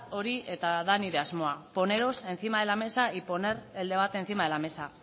hori nire asmoa poneros encima de la mesa y poner el debate encima de la mesa